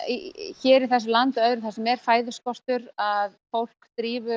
hér í þessu landi og öðrum þar sem er fæðuskortur að fólk